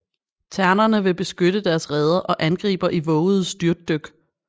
Ternerne vil beskytte deres reder og angriber i vovede styrtdyk